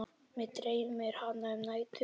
Mig dreymir hana um nætur.